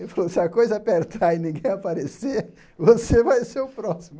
Ele falou, se a coisa apertar e ninguém aparecer, você vai ser o próximo.